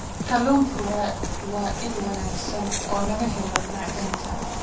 Kalluunku waa il wanaagsan oo laga helo macdanta.